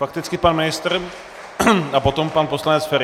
Fakticky pan ministr a potom pan poslanec Feri.